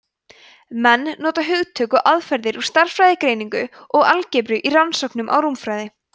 menn nota hugtök og aðferðir úr stærðfræðigreiningu og algebru í rannsóknum á rúmfræði